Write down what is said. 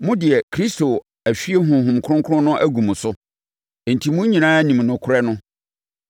Mo deɛ, Kristo ahwie Honhom Kronkron no agu mo so, enti mo nyinaa nim nokorɛ no.